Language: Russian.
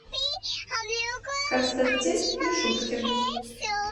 константин мишуткин